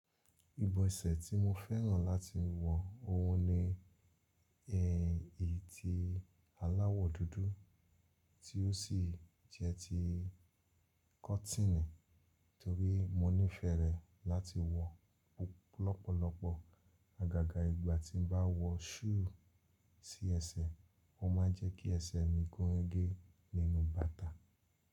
Ibọ́ ẹsẹ̀ tí mo fẹ́ràn láti wọ òun ni ẹyìn eti aláwọ̀ dúdú tí ó sì jẹ́ ti kọ́tínì torí mo nífẹ̀ẹ́ rẹ̀ láti wọ lọ́pọ̀lọpọ̀. Àgàgà ìgbà tí m bá wọ súù sí ẹsẹ̀, ó ma ń jẹ́ kí ẹsẹ̀ mi gúnrégé nínú bàtà.